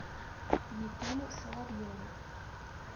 ефиму соловьеву